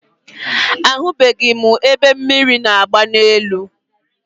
Ahụbeghị m ebe mmiri na-agba n'elu.